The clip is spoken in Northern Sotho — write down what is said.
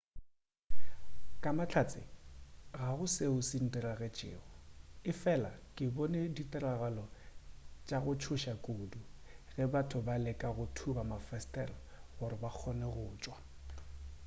ka mahlatse ga go seo se ndiragetšego efela ke bone tiragalo ya go tšhoša kudu ge batho ba leka go thuba mafesetere gore ba kgone go tšwa